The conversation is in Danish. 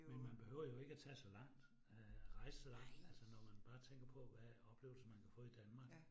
Men man behøver jo ikke at tage så langt øh, rejse så langt, altså når man bare tænker på hvad oplevelser man kan få i Danmark